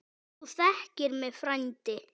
Þú þekkir mig frændi.